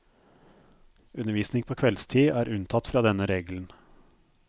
Undervisning på kveldstid er unntatt fra denne regelen.